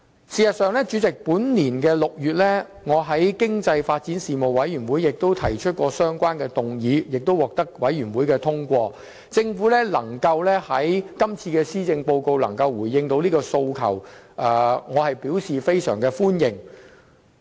事實上，本年6月，我在經濟發展事務委員會上亦提出相關議案，並獲得通過，政府能在這份施政報告中回應這訴求，我表示非常歡迎。